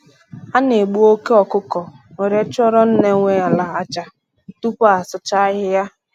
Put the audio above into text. A na egbu oke ọkụkọ were chụọrọ nne nwe ala aja, tupu asụcha ahịhịa